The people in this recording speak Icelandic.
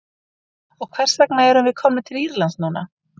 Og hvers vegna erum við komnir til Írlands núna?